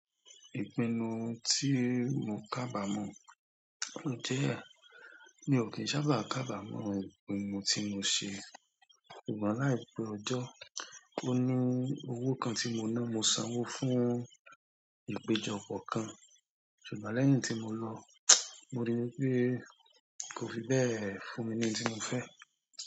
Ìpinnu tí mo kábàámọ̀ o jẹ́, mi ò kí ń sábà kábàámọ̀ ìpinnu tí mo ṣe. Ṣùgbọ́n láìpẹ́ ọjọ́, ó ní owó kan tí mo ná, mo sanwó fún ìpéjọpọ̀ kan. Ṣùgbọ́n lẹ́yìn tí mo lọ, mo rí i pé kò fi bẹ́ẹ̀ fún mi ní ohun tí mo fẹ́.